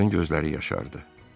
Onların gözləri yaşardı.